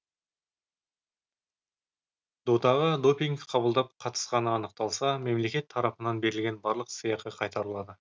додаға допинг қабылдап қатысқаны анықталса мемлекет тарапынан берілген барлық сыйақы қайтарылады